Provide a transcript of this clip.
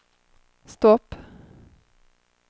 stopp